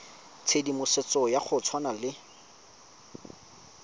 tshedimosetso ya go tshwana le